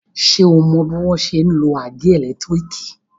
Ṣé o mọ bọ́n ṣe ń lo àgé ẹ̀lẹ́tírìkì?